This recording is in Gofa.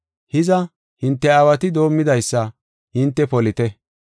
Hiza, hinte aawati doomidaysa hinte polite.